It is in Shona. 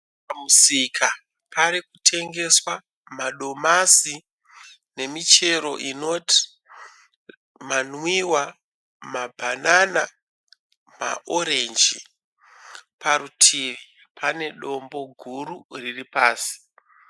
Pamusika parikutengeswa madomasi nemichero inoti manwiwa, mabhanana ma(orange). Parutivi pane dombo guru riripasi